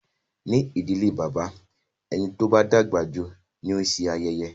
Ní ìdílé bàbá, ẹni tó bá dàgbà jù ni ó ń se ayẹyẹ.